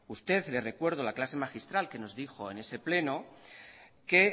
usted le recuerdo la clase magistral que nos dijo en ese pleno que